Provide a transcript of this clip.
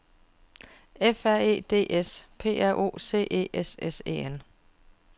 F R E D S P R O C E S S E N